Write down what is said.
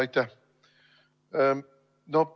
Aitäh!